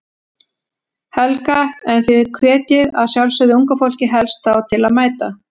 Helga: En þið hvetjið að sjálfsögðu unga fólkið helst þá til að mæta?